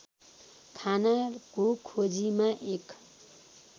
खानाको खोजीमा एक